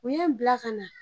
U ye n bila ka na.